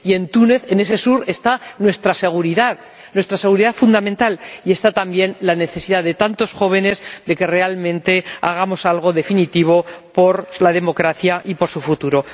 Y en Túnez, en ese sur, está nuestra seguridad, nuestra seguridad fundamental, y está también la necesidad de tantos jóvenes de que realmente hagamos algo definitivo por la democracia y por su futuro.